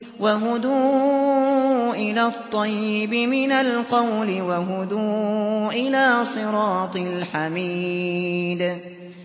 وَهُدُوا إِلَى الطَّيِّبِ مِنَ الْقَوْلِ وَهُدُوا إِلَىٰ صِرَاطِ الْحَمِيدِ